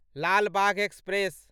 Lal Bagh express